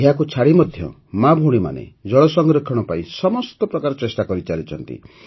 ଏହାକୁ ଛାଡ଼ି ମଧ୍ୟ ମାଭଉଣୀମାନେ ଜଳ ସଂରକ୍ଷଣ ପାଇଁ ସମସ୍ତ ପ୍ରକାର ଚେଷ୍ଟା କରିଚାଲିଛନ୍ତି